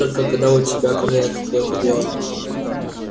только когда у тебя ко мне какое-то дело